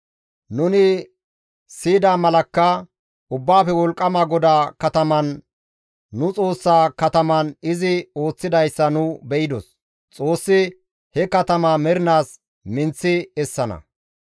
Nuni siyida malakka, Ubbaafe Wolqqama GODAA kataman, nu Xoossa kataman izi ooththidayssa nu be7idos. Xoossi he katamaa mernaas minththi essana.